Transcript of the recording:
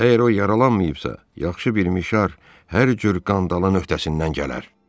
Əgər o yaralanmayıbsa, yaxşı bir mişar hər cür qandalın öhdəsindən gələr.